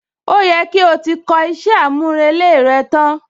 Ó yẹ kí o ti kọ iṣẹ́ àmúrelé rẹ tán?